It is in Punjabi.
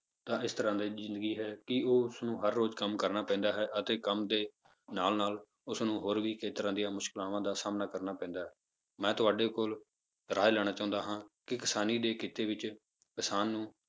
ਤਾਂ ਇਸ ਤਰ੍ਹਾਂ ਦੀ ਜ਼ਿੰਦਗੀ ਹੈ ਕਿ ਉਹ ਉਸਨੂੰ ਹਰ ਰੋਜ਼ ਕੰਮ ਕਰਨਾ ਪੈਂਦਾ ਹੈ ਅਤੇ ਕੰਮ ਦੇ ਨਾਲ ਨਾਲ ਉਸਨੂੰ ਹੋਰ ਵੀ ਖੇਤਰਾਂ ਦੀਆਂ ਮੁਸ਼ਕਲਾਵਾਂ ਦਾ ਸਾਹਮਣਾ ਕਰਨਾ ਪੈਂਦਾ ਹੈ, ਮੈਂ ਤੁਹਾਡੇ ਕੋਲ ਰਾਏ ਲੈਣਾ ਚਾਹੁੰਦਾ ਹਾਂ ਕਿ ਕਿਸਾਨੀ ਦੇ ਕਿੱਤੇ ਵਿੱਚ ਕਿਸਾਨ ਨੂੰ